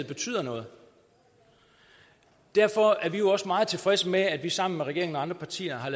betyder noget derfor er vi også meget tilfredse med at vi sammen med regeringen og andre partier har